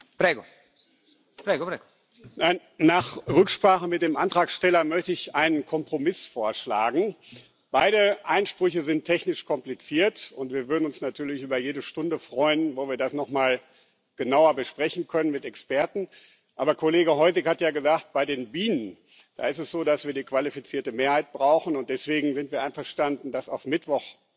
Herr Präsident! Nach Rücksprache mit dem Antragsteller möchte ich einen Kompromiss vorschlagen Beide Einsprüche sind technisch kompliziert, und wir würden uns natürlich über jede Stunde freuen, in der wir das noch mal genauer mit Experten besprechen können. Aber Kollege Hojsík hat es ja gesagt Bei den Bienen, da ist es so, dass wir die qualifizierte Mehrheit brauchen, und deswegen sind wir einverstanden, das auf Mittwoch vorzuziehen.